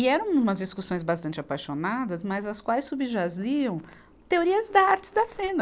E eram umas discussões bastante apaixonadas, mas as quais subjaziam teorias da arte da cena.